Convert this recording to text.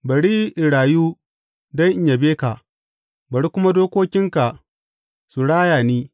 Bari in rayu don in yabe ka, bari kuma dokokinka su raya ni.